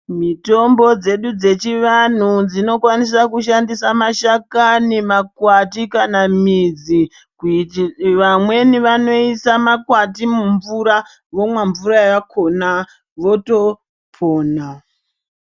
Mitombo dzedu dzechivantu dzinokwanisa kushandisa mashakani, makwati kana midzi. Kuiti vamweni vanoisa makwati mumvura vomwa mvura yakona votopona.